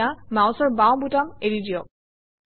এতিয়া মাউচৰ বাওঁ বুটাম এৰি দিয়ক